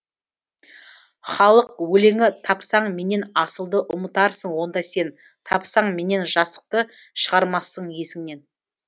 халық өлеңі тапсаң менен асылды ұмытарсың онда сен тапсаң менен жасықты шығармассың есіңнен